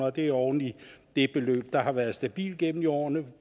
og det er oven i det beløb der har været stabilt gennem årene på